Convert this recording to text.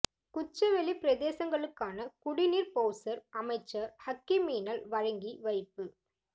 குச்சவெளி பிரதேசங்களுக்கான குடி நீர் பௌசர் அமைச்சர் ஹக்கீமினால் வழங்கி வைப்பு